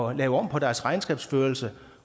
at lave om på deres regnskabsførelse